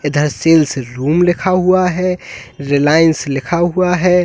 इधर sales room लिखा हुआ है रिलायंस लिखा हुआ है।